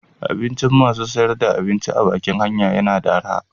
Abincin masu sayar da abinci a bakin hanya yana da araha.